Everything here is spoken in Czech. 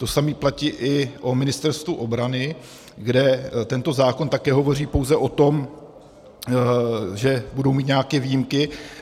To samé platí i o Ministerstvu obrany, kde tento zákon také hovoří pouze o tom, že budou mít nějaké výjimky.